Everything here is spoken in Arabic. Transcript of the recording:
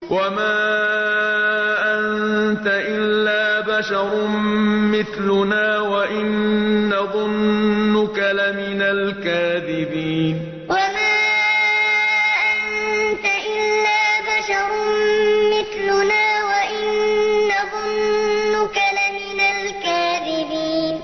وَمَا أَنتَ إِلَّا بَشَرٌ مِّثْلُنَا وَإِن نَّظُنُّكَ لَمِنَ الْكَاذِبِينَ وَمَا أَنتَ إِلَّا بَشَرٌ مِّثْلُنَا وَإِن نَّظُنُّكَ لَمِنَ الْكَاذِبِينَ